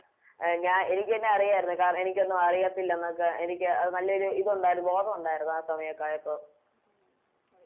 A ഞ എനിക്കെന്നെ അറിയാരുന്നു കാരണം എനിക്കൊന്നും അറിയത്തില്ലെന്നൊക്കെ എനിക്ക് അത് നല്ലൊരു ഇതൊണ്ടാരുന്നു ബോധോണ്ടാരുന്നു ആ സമായൊക്കെ ആയപ്പോ